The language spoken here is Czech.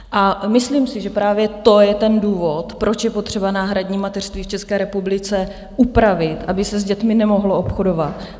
A myslím si, že právě to je ten důvod, proč je potřeba náhradní mateřství v České republice upravit, aby se s dětmi nemohlo obchodovat.